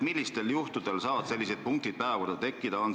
Millistel juhtudel saavad sellised punktid päevakorda tekkida?